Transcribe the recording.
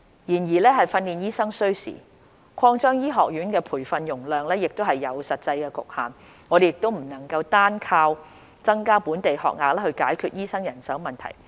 然而，訓練醫生需時，擴張醫學院培訓容量亦有實際局限，我們不能單靠增加本地學額來解決醫生人手問題。